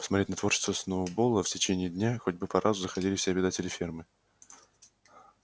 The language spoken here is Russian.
посмотреть на творчество сноуболла в течение дня хотя бы по разу заходили все обитатели фермы